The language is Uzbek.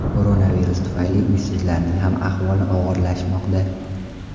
Koronavirus tufayli uysizlarning ham ahvoli og‘irlashmoqda.